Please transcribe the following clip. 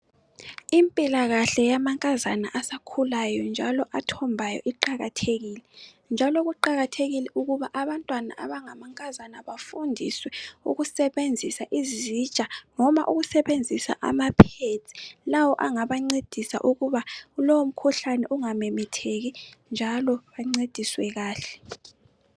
Impilakahle yamankazana asakhulayo njalo akhombayo iqakathekile njalo kuqakathekile ukuba abantwana abangamankazana bafundiswe ukusebenzisa izitsha noma ukusebenzisa ama pads lawo angabancedisa ukuba kulowo mkhuhlane ungamemetheki njalo bancediswe kahle